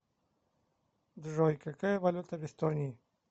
джой какая валюта в эстонии